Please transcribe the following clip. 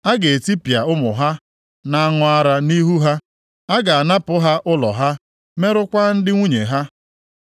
A ga-etipịa ụmụ ha na-aṅụ ara nʼihu ha; a ga-anapụ ha ụlọ ha, merụkwaa ndị nwunye ha.